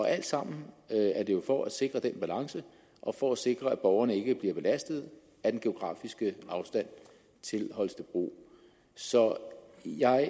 alt sammen for at sikre den balance og for at sikre at borgerne ikke bliver belastet af den geografiske afstand til holstebro så jeg